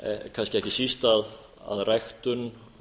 kannski ekki síst að ræktun